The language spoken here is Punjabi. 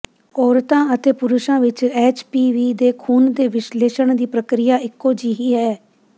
ਔਰਤਾਂ ਅਤੇ ਪੁਰਸ਼ਾਂ ਵਿਚ ਐਚਪੀਵੀ ਦੇ ਖੂਨ ਦੇ ਵਿਸ਼ਲੇਸ਼ਣ ਦੀ ਪ੍ਰਕਿਰਿਆ ਇਕੋ ਜਿਹੀ ਹੈ